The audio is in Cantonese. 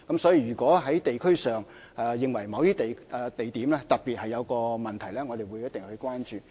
所以，如果在地區上，有意見認為某些地點特別有問題的話，我們一定會關注。